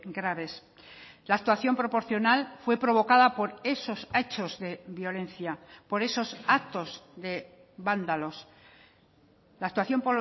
graves la actuación proporcional fue provocada por esos hechos de violencia por esos actos de vándalos la actuación